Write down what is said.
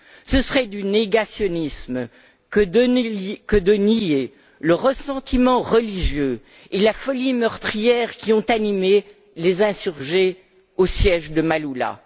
Ce serait du négationnisme que de nier le ressentiment religieux et la folie meurtrière qui ont animé les insurgés au siège de Maaloula.